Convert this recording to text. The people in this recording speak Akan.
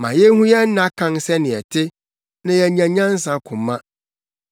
Ma yenhu yɛn nna kan sɛnea ɛte, na yɛanya nyansa koma.